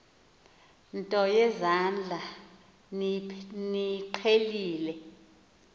nto yezandla niyiqhelile